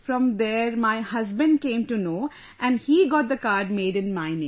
From there, my husband came to know and he got the card made in my name